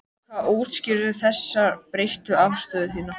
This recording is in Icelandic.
Hvað útskýrir þessa breyttu afstöðu þína?